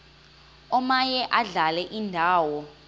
omaye adlale indawo